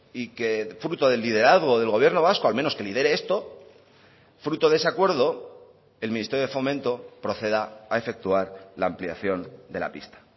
y que fruto del liderazgo del gobierno vasco al menos que lidere esto fruto de ese acuerdo el ministerio de fomento proceda a efectuar la ampliación de la pista